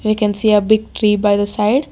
We can see a big tree by the side.